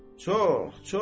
Çox, çox.